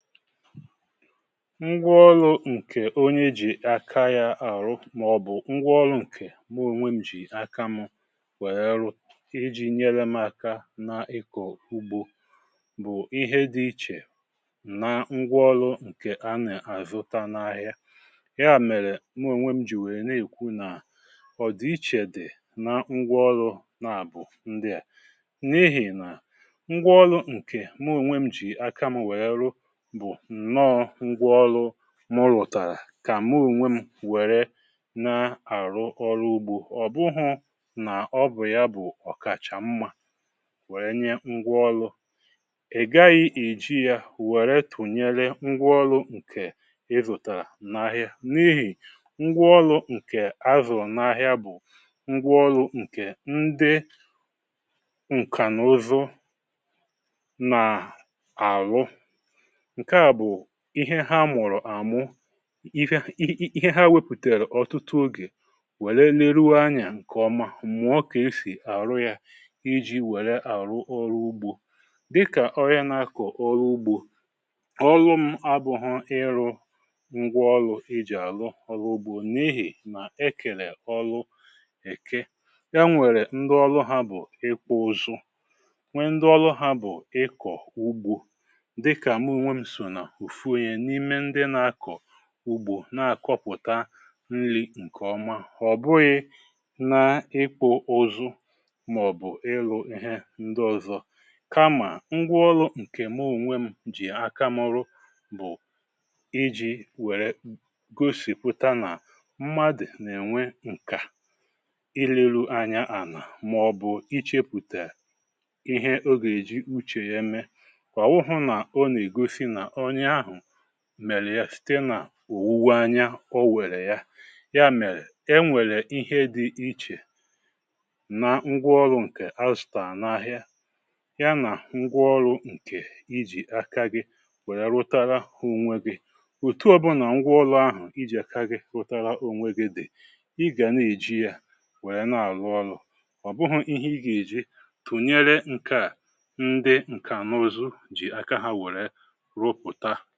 Ngwaọlụ ǹkè onye ji aka ya àrụ màọ̀bụ̀ ngwaọlụ ǹkè mụ ònwe m jì aka mù wèe ru, iji nyere m aka na ịkọ̀ ugbȯ bụ̀ ihe dị ichè na ngwaọlụ ǹkè a nà-àzụta n’ahịa. Ya mèrè mụ ònwe m jì wèe na-èkwu nà ọ̀dị ichè dị̀ na ngwaọlụ naàbụ̀ ndị à. N’ihì nà ngwaọlụ ǹkè mụ onwe m jì aka mù wèe rụ bụ nnọọ́ngwaọlụ mụ rụtàrà kà mụ ònwè m wère na-àrụ ọrụ ugbȯ, ọ̀ bụghụ nà ọbụ̀ ya bụ̀ ọ̀kàchà mmȧ wère nye ngwaọlụ.̇Ịgaghị èji yȧ wèe tụ̀nyere ngwaọlụ̇ǹkè ịzụ̀tàrà n’ahịa n’ihì ngwaọlụ ǹkè a zụ̀rụ̀ n’ahịa bụ̀ ngwaọlụ̇ǹkè ndị ǹkànụzụ na-arụ. Nkè a bụ ihe ha mụ̀rụ̀ amụ, ihe ha wepùtèrụ̀ ọ̀tụtụ ogè, wère leruo anyà ǹkè ọma, m̀ụà kà e sì àrụ yȧ iji wère àrụ ọrụ ugbȯ. Dịkà onye na-akọ̀ ọlụ ugbȯ, ọlụ m abụghọ́ịrụ̇ngwaọlụ e jì àlụ ọlụ ugbȯ n’ihì nà e kèlè ọlụ èké. E nwèrè ndị ọlụ ha bụ̀ ịkpụụzụ, nwe ndị ọlụ ha bụ̀ ịkọ̀ ugbȯ, dịka mụ ònwe m so na ofu onye n'ime ndị nà-akọ̀ ùgbo, na-àkọpụ̀ta nri ǹkèọma. Ọ̀bụghị na ịkpụ ụzụ màọbụ̀ ịlụ um ihe ndị ọ̀zọ kamà ngwaọlụ̇ǹkè mụ onwe m jì aka mụ rụ bụ̀ iji̇wère gosìpụta nà mmadụ̀ nà-ènwe ǹkà, ilėlụ anya ànà màọbụ̀ ịchėpụ̀ta ihe o gà-èji uchè ya me. Ọ wụghọ̀ na ọ na-egosi na onye ahụ̀ mèlè ya site nà òwuwe anya o wèrè ya. Ya mèrè, e nwèrè ihe dị ichè na ngwaọlụ̇ǹkè azụtàrà n’ahịa, ya nà ngwaọlụ̇ǹkè ijì aka gị wèrè rụtara onwe gị. Otu ọbụnà ngwaọlụ̇ahụ̀ ijì aka gị rụtara onwe gị dị̀, ị gà na-èji yȧ wèrè na-àrụ ọlụ. Obụghụ̇ihe ị gà-èji tùnyere ǹkà, ndị ǹkànụzụ jì aka ha wèrè rụpụta.